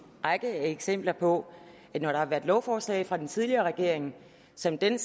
række eksempler på at når der har været lovforslag fra den tidligere regering som den